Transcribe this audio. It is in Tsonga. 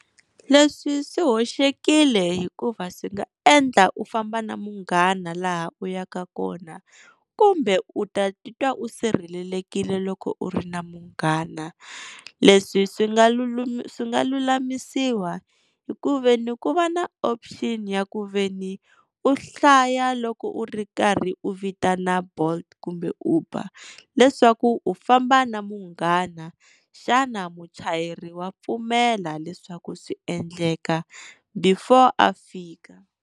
Leswi swi hoxekile hikuva swi nga endla u famba na munghana laha u yaka kona kumbe u ta titwa u sirhelelekile loko u ri na munghana. Leswi swi nga swi nga lulamisiwa hi ku veni ku va na option ya ku veni u hlaya loko u ri karhi u vitana Bolt kumbe Uber leswaku u famba na munghana, xana muchayeri wa pfumela leswaku swi endleka before a fika.